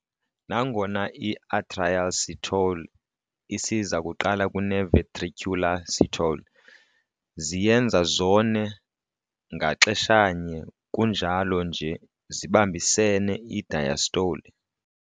Nangona i-"atrial systole" isiza kuqala kune-"ventricular systole", ziyenza zone ngaxeshanye kunjalo nje zibambisene i-diastole.